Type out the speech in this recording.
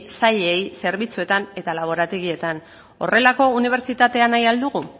sailei zerbitzuetan eta laborategietan horrelako unibertsitatea nahi al dugu